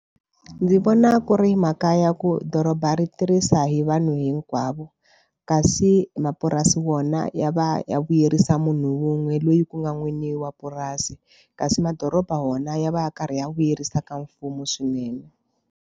Ndzi vona ku ri makaya ya ku doroba ri tirhisa hi vanhu hinkwavo kasi mapurasi wona ya va ya vuyerisa munhu wun'we loyi ku nga n'wini wa purasi kasi madoroba wona ya va ya karhi ya vuyerisa ka mfumo swinene.